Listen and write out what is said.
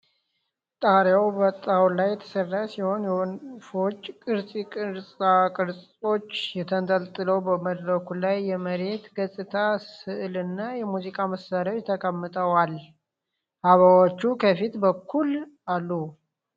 ጣሪያው በጣውላ የተሠራ ሲሆን፣ የወፎች ቅርጻ ቅርጾች ተንጠልጥለዋል። በመድረኩ ላይ የመሬት ገጽታ ሥዕልና የሙዚቃ መሳሪያዎች ተቀምጠዋል፤ አበባዎችም ከፊት በኩል አሉ።